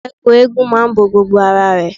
Ẹ̀kú eégún máa ń bo gbogbo ara rẹ.